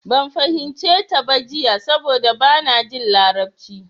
Ban fahimce ta ba jiya saboda bana jin larabci.